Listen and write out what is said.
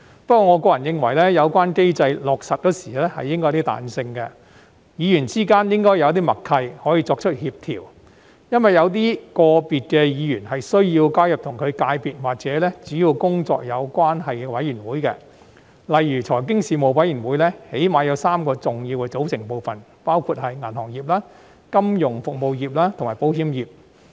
不過，我個人認為，有關機制落實時應該有些彈性，議員之間應該有些默契，可以作出協調，因為有些個別的議員是需要加入與其界別或主要工作有關係的事務委員會，例如財經事務委員會起碼有3個重要的組成部分，包括銀行業、金融服務業及保險業。